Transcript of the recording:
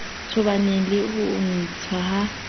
tobaneng le ho ntshwa ha